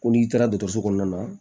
Ko n'i taara dɔgɔtɔrɔso kɔnɔna na